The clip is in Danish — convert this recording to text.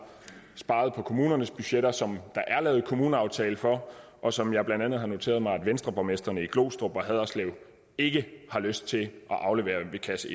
sparet på kommunernes budgetter som der er lavet kommuneaftale for og som jeg blandt andet har noteret mig at venstreborgmestrene i glostrup og haderslev ikke har lyst til at aflevere ved kasse